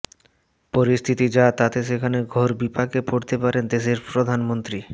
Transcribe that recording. পরিস্থিতি যা তাতে সেখানে ঘোর বিপাকে পড়তে পারেন দেশের প্রধানমন্ত্রী